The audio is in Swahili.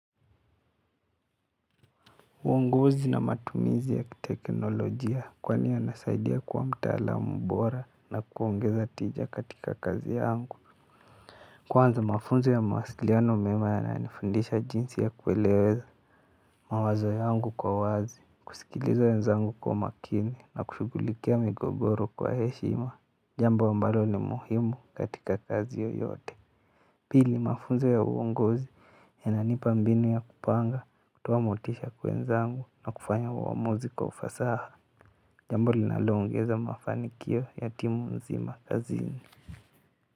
Uongozi na matumizi ya teknolojia kwani yanasaidia kwa mtaalam bora na kuongeza tija kwa kazi yangu. Kwanza mafunzo ya mawasiliano mema yananifundisha jinsi ya kueleweza mawazo yangu kwa wazi. Kusikiliza ya wenzangu kwa makini na kushugulikia migogoro kwa heshima. Jambo ambalo ni muhimu katika kazi yoyote. Pili mafunzo ya uongozi yananipa mbinu ya kupanga kutoa motisha kwa wenzangu na kufanya uamuzi kwa ufasaha. Jambo linalongeza mafanikio ya timu nzima kazini.